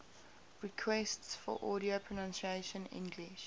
requests for audio pronunciation english